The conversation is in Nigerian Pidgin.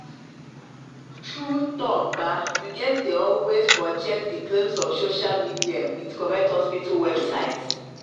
true talk [ba] u gets dey always crosscheck the claims of social media with correct hospital websites